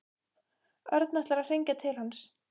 Örn ætlar að hringja til hans.